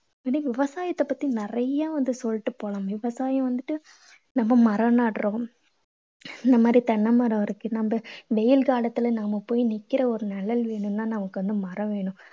இன்னும் விவசாயத்தை பத்தி நிறைய வந்து சொல்லிட்டு போலாம். விவசாயம் வந்துட்டு நம்ம மரம் நடறோம். இந்த மாதிரி தென்னை மரம் இருக்கு. நம்ம வெயில் காலத்துல நம்ம போய் நிக்கிற ஒரு நிழல் வேணும்னா நமக்கு வந்து மரம் வேணும்.